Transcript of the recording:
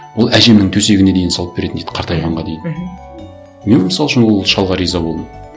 ол әжемнің төсегіне дейін салып беретін дейді қартайғанға дейін мхм мен мысал үшін ол шалға риза болдым